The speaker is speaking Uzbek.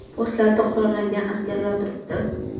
Postlarda qurollangan askarlar turibdi.